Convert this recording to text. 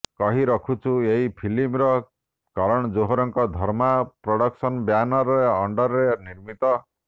କହିରଖୁଛୁ ଏହି ଫିଲ୍ମ କରଣ ଜୋହରଙ୍କ ଧର୍ମା ପ୍ରଡକ୍ସନ ବ୍ୟାନର ଅଣ୍ଡରରେ ନିର୍ମିତ